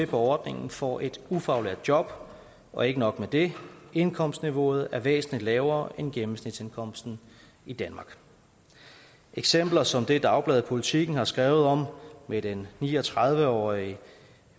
på ordningen får et ufaglært job og ikke nok med det indkomstniveauet er væsentlig lavere end gennemsnitsindkomsten i danmark eksempler som det dagbladet politiken har skrevet om med den ni og tredive årige